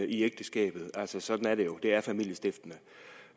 i ægteskabet altså sådan er det jo det er familiestiftende